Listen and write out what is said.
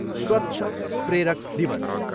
स्वच्छ प्रेरक दिवस।